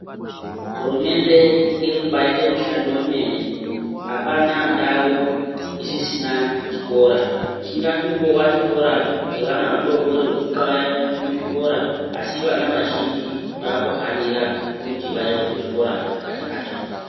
Hurumende irikubaita mushando wemene. Apana ndau isisina chikora. Chingatova chikora chevana vadoodori vekuxaya muzvikora, asi vana vazhinji vaakuhanira kuti vaende kuzvikora vachakatsonga.